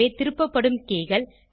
எனவே திருப்பப்படும் keyகள்